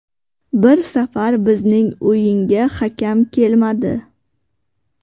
Bir safar bizning o‘yinga hakam kelmadi.